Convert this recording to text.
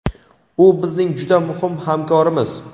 u bizning juda muhim hamkorimiz.